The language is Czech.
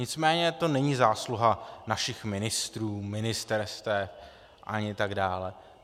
Nicméně to není zásluha našich ministrů, ministerstev, ani tak dále.